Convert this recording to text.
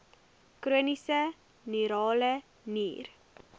chroniese renale nier